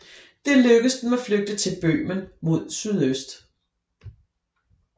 Det lykkedes dem at flygte til Bøhmen mod sydøst